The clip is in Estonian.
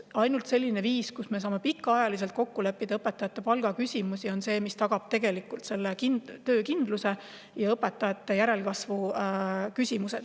Ainult see, kui me saame õpetajate palgaküsimustes pikaajaliselt kokku leppida, tagab töökindluse ja õpetajate järelkasvu.